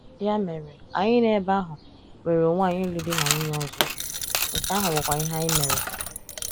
Ya mere, anyị nọ ebe ahụ, nwere onwe anyị ịlụ di na nwunye ọzọ—nke ahụ bụkwa ihe anyị mere.